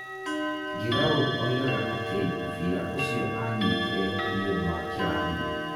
Giroud oigaga atĩ mũbira ũcio aanyitire nĩ ũndũ wa kĩrathimo.